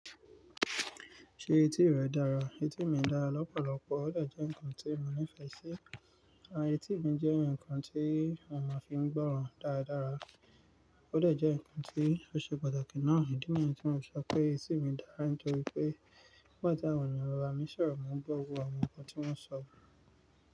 Ṣé etí rẹ dára? Etí mi dára lọ́pọ̀lọpọ̀, ó dẹ̀ jẹ́ nǹkan tí mo nífẹ̀ẹ́ sí. Àti etí mi jẹ́ ǹkan tí mo máa fi ń gbọ́ran dáradára, ó dẹ̀ jẹ́ ǹkan tí ó ṣe pàtàkì náà. Ìdí mi ní tí mo sọ pé etí mi dára ni nítorí pé nígbà tí àwọn ènìyàn bàn bami sọ̀rọ̀ mo ń gbọ́wọ́ àwọn ǹkan tí wọ́n ń sọ.